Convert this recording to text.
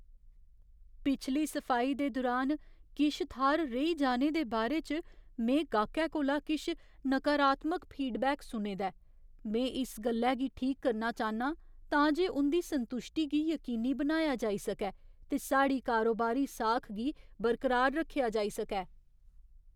पिछली सफाई दे दुरान किश थाह्‌र रेही जाने दे बारे च में गाह्‌कै कोला किश नकारात्मक फीडबैक सुने दा ऐ। में इस गल्लै गी ठीक करना चाह्न्नां तां जे उं'दी संतुश्टी गी यकीनी बनाया जाई सकै ते साढ़ी कारोबारी साख गी बरकरार रक्खेआ जाई सकै।